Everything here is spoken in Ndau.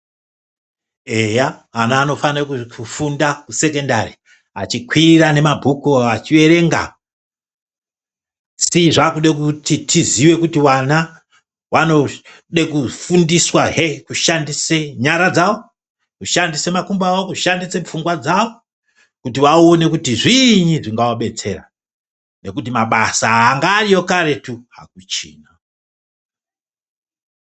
Eya, ana anofanira kufunda kusekondari. Achikwira nemabhuku achiverenga, asi zvakude kuti tiziwe kuti wana wanode kufundiswahe kushandise nyara dzawo, kushandise makumbo awo, kushandise pfungwa kuti vaone kuti zviinyi zvingawabetsera nekuti mabasa anga ariyo karetu hakuchina.